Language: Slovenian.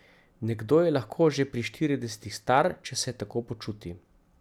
Nekdo je lahko že pri štiridesetih star, če se tako počuti.